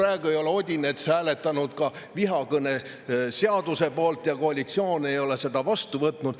Odinets ei ole hääletanud vihakõneseaduse poolt ja koalitsioon ei ole seda vastu võtnud.